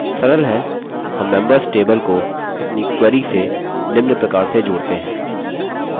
सरल है; हम members table को अपनी query से निम्न प्रकार से जोड़ते हैं: